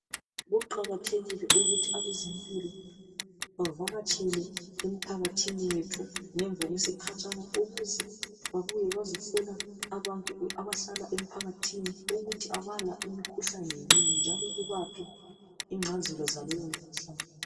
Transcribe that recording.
Ukuqakatheka ukuthi abezempilo bavakatshele emphakathini wethu ngemva kwesikhatshana ukuze babuye bazohlola abantu abahlala emphakathini ukuthi abala imkhuhlane yini njalo bebaphe ingcazelo zaleyo mkhuhlane.